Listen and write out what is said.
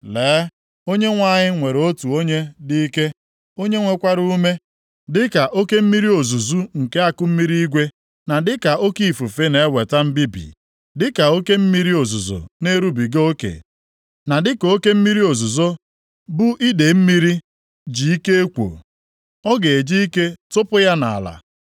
Lee, Onyenwe anyị nwere otu onye dị ike, + 28:2 Nʼebe a otu onye ahụ dị ike bụ eze ndị Asịrịa. onye nwekwara ume, dịka oke mmiri ozuzu nke akụmmiri igwe na dịka oke ifufe na-eweta mbibi, dịka oke mmiri ozuzo na-erubiga oke na dịka oke mmiri ozuzo bu idee mmiri ji ike ekwo, ọ ga-eji ike tụpụ ya nʼala.